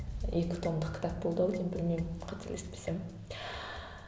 екі томдық кітап болды ау деймін білмеймін қателеспесем